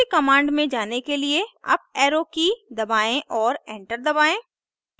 पिछली कमांड में जाने के लिए अप एरो की दबाएं और एंटर दबाएं